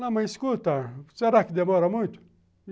Não, mas escuta, será que demora muito?